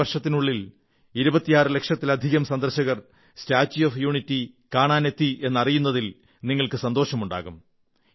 ഒരു വർഷത്തിനുള്ളിൽ 26 ലക്ഷത്തിലധികം സന്ദർശകർ സ്റ്റാച്യൂ ഓഫ് യൂണിറ്റി കാണാനെത്തിയെന്നതിൽ നിങ്ങൾക്കു സന്തോഷമുണ്ടാകും